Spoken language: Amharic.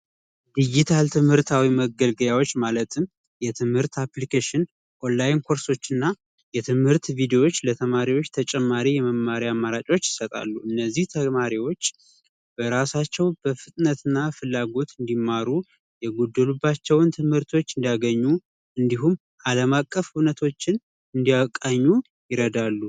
ዲጂታል ትምህርታዊ መገልገያዎች ማለትም የትምህርት አፕልኬሽን፥ ኦንላይን ኮርሶችና የትምህርት ቪዲዮዎች ለተማሪዎች ተጨማሪ የመመሪያ አማራጮች ይሰጣሉ እነዚህ ተማሪዎች በራሳቸው በፍጥነትና ፍላጎት እንዲማሩ የጎደሉባቸውን ትምህርቶች እንዲያገኙ እንዲሁም አለማቀፍ እውነቶችን እንዲያቀኙ ይረዳሉ።